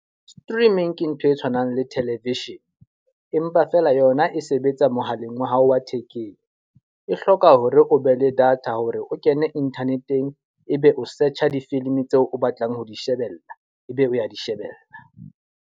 Streaming ke ntho e tshwanang le television. Empa fela yona e sebetsa mohaleng wa hao wa thekeng. E hloka hore ho be le data hore o kene internet-eng, e be o search difilimi tseo o batlang ho di shebella, e be o ya di shebella.